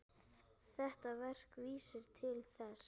Þetta verk vísar til þess.